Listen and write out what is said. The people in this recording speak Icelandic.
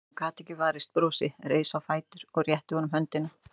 Hún gat ekki varist brosi, reis á fætur og rétti honum höndina.